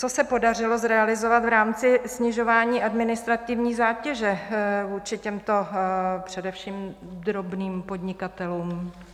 Co se podařilo zrealizovat v rámci snižování administrativní zátěže vůči těmto především drobným podnikatelům?